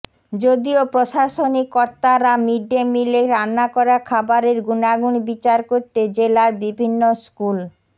যদিও প্রশাসনিক কর্তারা মিডডে মিলে রান্না করা খাবারের গুণাগুণ বিচার করতে জেলার বিভিন্ন স্কুল